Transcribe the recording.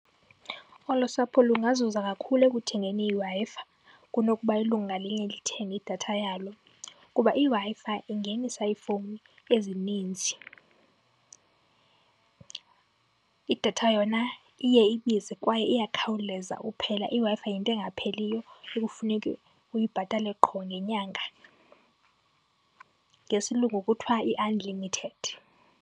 Olo sapho lungazuza kakhulu ekuthengeni iWi-Fi kunokuba ilungu ngalinye lithenge idatha yalo, kuba iWi-Fi ingenisa iifowuni ezininzi. Idatha yona iye ibize kwaye iyakhawuleza uphela, iWi-Fi yinto engapheliyo ekufuneke uyibhatale qho ngenyanga. Ngesilungu kuthwa i-unlimited.